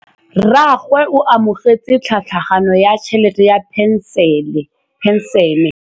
Rragwe o amogetse tlhatlhaganyô ya tšhelête ya phenšene.